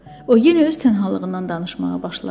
O yenə öz tənhalığından danışmağa başladı.